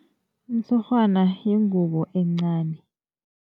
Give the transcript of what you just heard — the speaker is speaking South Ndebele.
Umtshurhwana yingubo encani.